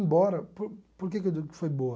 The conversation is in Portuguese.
Embora... Por por que que eu digo que foi boa?